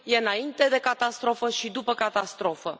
E înainte de catastrofă și după catastrofă.